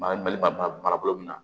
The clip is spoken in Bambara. Baara bali bara bolo min na